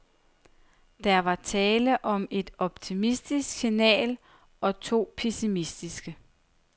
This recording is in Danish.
Der var tale om et optimistisk signal og to pessimistiske.